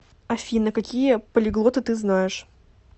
афина какие полиглоты ты знаешь